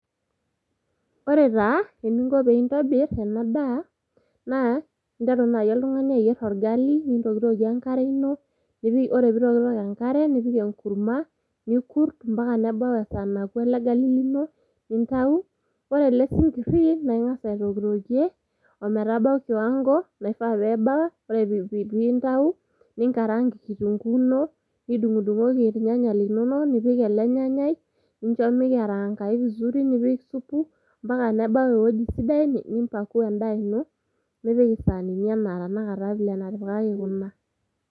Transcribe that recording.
Ore taa eninko pintobir ena daa interu naji oltungani ayier orgali , nintokitokie enkare ino , ore pitoktok enkare ,nipik enkurma, nikurt ompaka nebau esaa naku ele gali lino nintau. Ore ele sinkiri naa ingas aitokitokie ometabau kiwango naifaa pebau, ore pintau , ninkarang kitunguu ino, nidungdungoki irnyanya linonok , nipik ele nyanyai , nincho mikarangayu vizuri nipik supu mpaka nebau ewueji sidai ,nimpakua endaa ino nipik isanini ena vile natipikaki kuna.